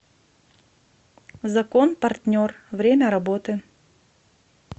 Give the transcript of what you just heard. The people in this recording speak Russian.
закон партнер время работы